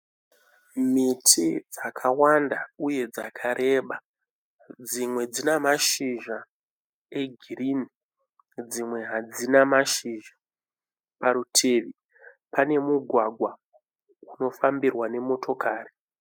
Miti dzakawanda uye dzakarebe dzimwe dzina mashizha egirini dzimwe hadzina mashizha parutivi pane mugwagwa unofambirwa nemotokari